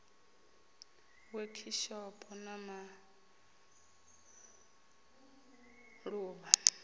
wekhishopho na ma ḓ uvha